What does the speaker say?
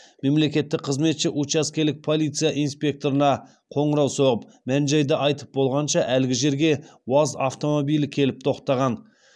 мемлекеттік қызметші учаскелік полиция инспекторына қоңырау соғып мән жайды айтып болғанша әлгі жерге уаз автомобилі келіп тоқтаған